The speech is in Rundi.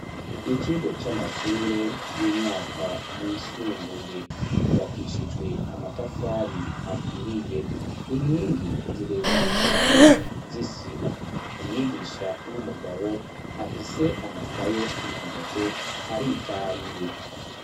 Ikigo c'amashure y'umwaka wisumbuye yubakishijwe amatafari aturiye inkingi zirezire cane zisima umwigisha w'umugabo afise amakaye mu ntoke aritahiye.